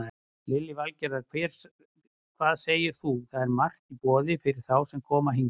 Lillý Valgerður: Hvað segir þú, það er margt í boði fyrir þá sem koma hingað?